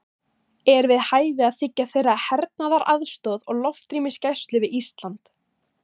Er við hæfi að þiggja þeirra hernaðaraðstoð og loftrýmisgæslu við Ísland?